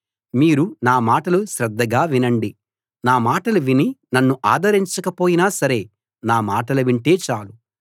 మీరు నా మాటలు శ్రద్ధగా వినండి నా మాటలు విని నన్ను ఆదరించకపోయినా సరే నా మాటలు వింటే చాలు